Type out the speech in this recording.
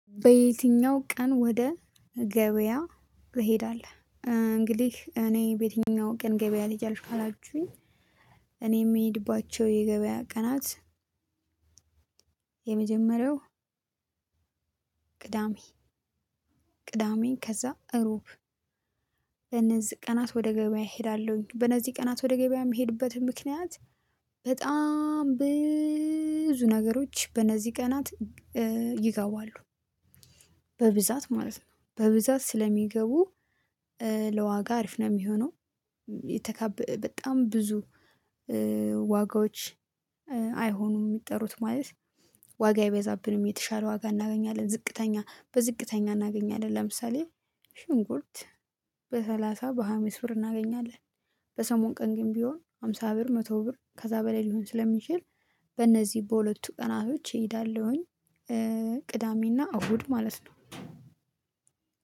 በየትኛው ቀን ወደ ገበያ ትሄዳለህ? እ እንግዲህ እኔ በየትኛው ቀን ገበያ ትሄጂአልሽ? ካላችሁኝ እኔ የምሄድባቸው የገበያ ቀናት። የመጀመሪያው ቅዳሜ። ቅዳሜን ከዛ እሮብ። እነዚህ ቀናት ወደ ገበያ እሄዳለሁኝ በነዚህ ቀናት ወደ ገበያ የምሄድበት ምክንያት። በጣም ብዙ ነገሮች በነዚህ ቀናት እ ይገባሉ። በብዛት ማለት ነው። በብዛት ስለሚገቡ እ ለዋጋ አሪፍ ነው የሚሆነው። የተካበ በጣም ብዙ እ ዋጋዎች እ አይሆኑም የሚጠሩት ማለት ዋጋ አይበዛብንም የተሻለ ዋጋ እናገኛለን። ዝቅተኛ በዝቅተኛ እናገኛለን ለምሳሌ ሽንኩርት በሰላሳ በሃያ አምስት ብር እናገኛለን። በሰሞን ቀን ግን ቢሆን ሃምሳ ብር መቶ ብር ከዛ በላይ ሊሆን ስለሚችል በነዚህ በሁለቱ ቀናቶች እሄዳለሁኝ። እ ቅዳሜና እሁድ ማለት ነው።